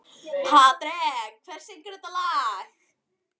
Patrek, hver syngur þetta lag?